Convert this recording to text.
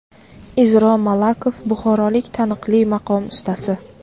Izro Malakov buxorolik taniqli maqom ustasi.